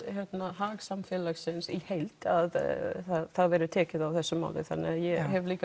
hag samfélagsins í heild að það verði tekið á þessu máli þannig að ég hef líka